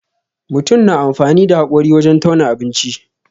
Mutun na amfani da haƙori wajen tauna abinci.